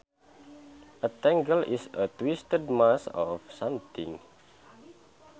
A tangle is a twisted mass of something